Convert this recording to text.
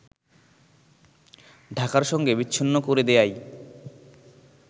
ঢাকার সঙ্গে বিচ্ছিন্ন করে দেয়াই